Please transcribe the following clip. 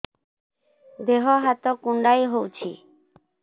ଦେହ ହାତ କୁଣ୍ଡାଇ ହଉଛି